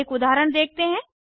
अब एक उदाहरण देखते हैं